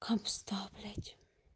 кабзда блядь